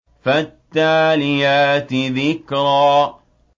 فَالتَّالِيَاتِ ذِكْرًا